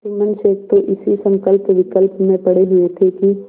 जुम्मन शेख तो इसी संकल्पविकल्प में पड़े हुए थे कि